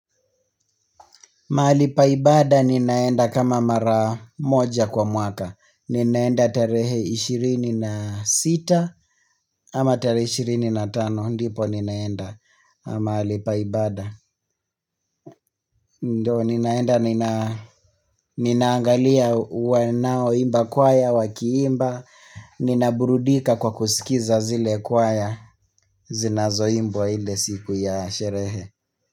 Mahali pa ibada ninaenda kama mara moja kwa mwaka. Ninaenda tarehe 26 ama tarehe 25. Ndipo ninaenda mahali pa ibada. Ndio ninaenda ninaangalia wanaoimba kwaya wakiimba. Ninaburudika kwa kusikiza zile kwaya zinazoimbwa ile siku ya sherehe.